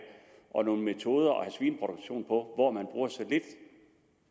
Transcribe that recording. og nogle metoder at have svineproduktion på hvor man bruger så lidt